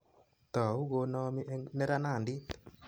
Tau konami eng neranandit